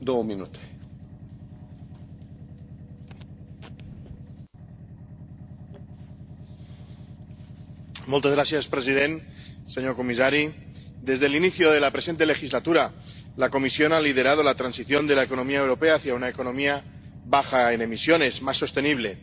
Señor presidente, señor comisario, desde el inicio de la presente legislatura, la Comisión ha liderado la transición de la economía europea hacia una economía baja en emisiones, más sostenible.